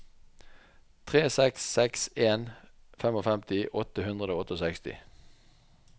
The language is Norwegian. tre seks seks en femtifem åtte hundre og sekstiåtte